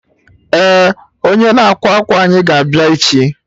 Eh, onye na-ákwà akwa anyị ga abịa echi